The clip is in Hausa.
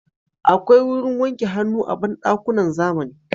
Akwai wurin wanke hannu a banɗakunan zamani